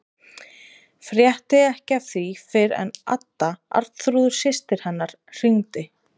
Frétti ekki af því fyrr en Adda, Arnþrúður systir hennar, hringdi.